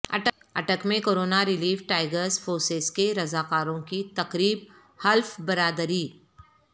اٹک میں corona relief tigers force کے رضاکاروں کی تقریب حلف برداری